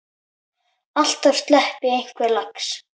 Alltaf sleppi einhver lax.